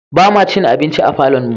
Ba ma cin abinci a falonmu ba.